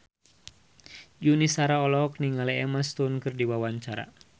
Yuni Shara olohok ningali Emma Stone keur diwawancara